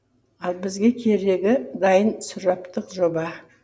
ал бізге керегі дайын сұраптық жоба